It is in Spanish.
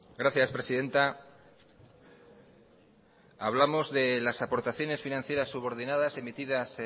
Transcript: gracias presidenta hablamos de las aportaciones financieras subordinadas emitidas